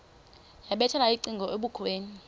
yabethela ucingo ebukhweni